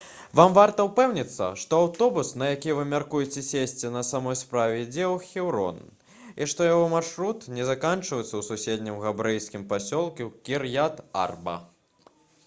вам варта ўпэўніцца што аўтобус на які вы мяркуеце сесці на самой справе ідзе ў хеўрон і што яго маршрут не заканчваецца ў суседнім габрэйскім пасёлку кір'ят-арба